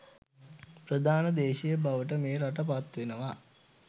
ප්‍රධාන දේශය බවට මේ රට පත් වෙනවා